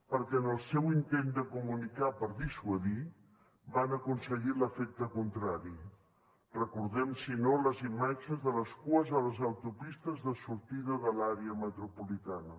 perquè en el seu intent de comunicar per dissuadir van aconseguir l’efecte contrari recordem si no les imatges de les cues a les autopistes de sortida de l’àrea metropolitana